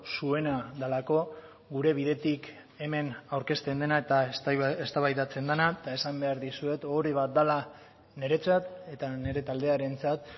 zuena delako gure bidetik hemen aurkezten dena eta eztabaidatzen dena eta esan behar dizuet ohore bat dela niretzat eta nire taldearentzat